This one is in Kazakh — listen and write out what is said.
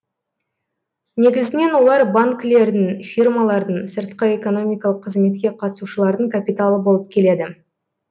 негізінен олар банкілердің фирмалардың сыртқы экономикалық қызметке қатысушылардың капиталы болып келеді